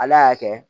Ala y'a kɛ